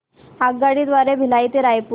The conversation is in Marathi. आगगाडी द्वारे भिलाई ते रायपुर